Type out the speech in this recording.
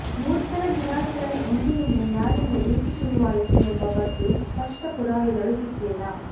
ಮೂರ್ಖರ ದಿನಾಚರಣೆ ಎಂದಿನಿಂದ ಯಾರಿಂದ ಏಕೆ ಶುರುವಾಯಿತು ಎಂಬ ಬಗ್ಗೆ ಸ್ಪಷ್ಟ ಪುರಾವೆಗಳು ಸಿಕ್ಕಿಲ್ಲ